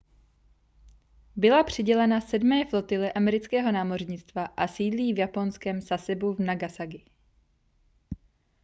byla přidělena sedmé flotile amerického námořnictva a sídlí v japonském sasebu v nagasaki